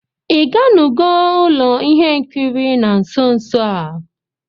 Ị gánugó ụlọ ihe nkiri na nso nso a?